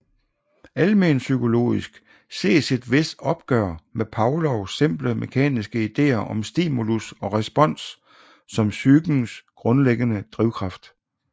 Almenpsykologisk ses et vist opgør med Pavlovs simple mekaniske ideer om stimulus og respons som psykens grundlæggende drivkraft